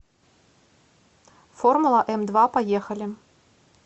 формула эмдва поехали